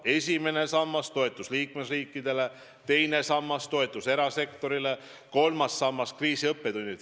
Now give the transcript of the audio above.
Esimene sammas toetus liikmesriikidele, teine sammas toetus erasektorile, kolmas sammas kriisiõppetundidele.